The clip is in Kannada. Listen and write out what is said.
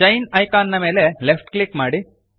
ಚೈನ್ ಐಕಾನ್ ನ ಮೇಲೆ ಲೆಫ್ಟ್ ಕ್ಲಿಕ್ ಮಾಡಿರಿ